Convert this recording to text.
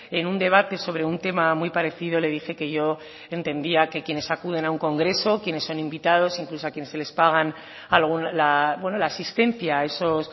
en un debate sobre un tema muy parecido le dije que yo entendía que quienes acuden a un congreso que quienes son invitados incluso a quienes se les pagan la asistencia a esos